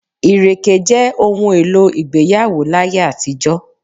Ìrèké jẹ òun èlò ìgbéyàwó láyé àtijó.